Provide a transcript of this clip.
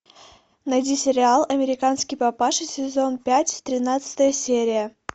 найди сериал американский папаша сезон пять тринадцатая серия